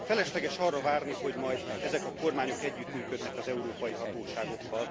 Felesleges arra várni, hogy majd ezek a kormányok együttműködnek az európai hatóságokkal.